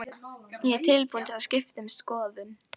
Ég er búin að skipta um skoðun.